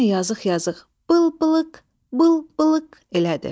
Yenə yazıq-yazıq bıl-bılıq, bıl-bılıq elədi.